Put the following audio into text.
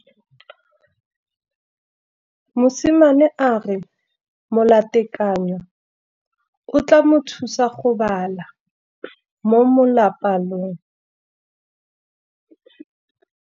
Mosimane a re molatekanyô o tla mo thusa go bala mo molapalong.